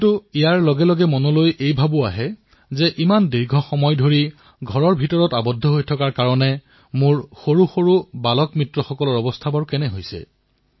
কিন্তু ইয়াৰ সৈতে বহু সময়ত মোৰ মনলৈ এটা প্ৰশ্ন আহে যে দীৰ্ঘদিন ধৰি ঘৰতে থকাৰ বাবে মোৰ সৰুসৰু শিশু বন্ধুসকলৰ ওপৰত কেনে প্ৰভাৱ পৰিছে